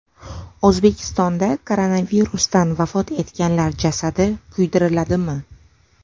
O‘zbekistonda koronavirusdan vafot etganlar jasadi kuydiriladimi?.